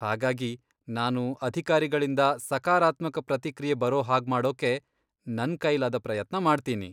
ಹಾಗಾಗಿ, ನಾನು ಅಧಿಕಾರಿಗಳಿಂದ ಸಕಾರಾತ್ಮಕ ಪ್ರತಿಕ್ರಿಯೆ ಬರೋ ಹಾಗ್ಮಾಡೋಕೆ ನನ್ ಕೈಲಾದ ಪ್ರಯತ್ನ ಮಾಡ್ತೀನಿ.